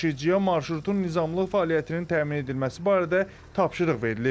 Daşıyıcıya marşrutun nizamlı fəaliyyətinin təmin edilməsi barədə tapşırıq verilib.